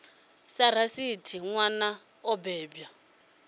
dza rathi nwana o bebwa